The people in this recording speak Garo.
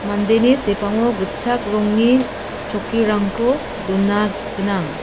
mandeni sepango gitchak rongni chokkirangko dona gnang.